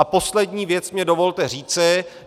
A poslední věc mi dovolte říci.